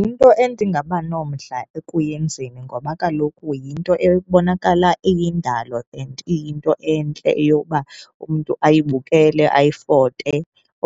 Yinto endingaba nomdla ekuyenzeni ngoba kaloku yinto ekubonakala iyindalo and iyinto entle eyokuba umntu ayibukele, ayifote